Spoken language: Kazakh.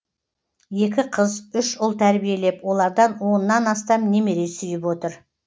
екі қыз үш ұл тәрбиелеп олардан оннан астам немере сүйіп отыр